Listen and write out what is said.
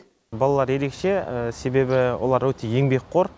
балалар ерекше себебі олар өте еңбекқор